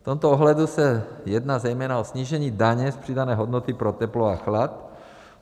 V tomto ohledu se jedná zejména o snížení daně z přidané hodnoty pro teplo a chlad.